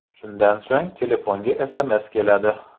Shundan so‘ng telefonga SMS keladi.